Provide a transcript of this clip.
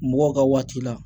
Mɔgɔw ka waati la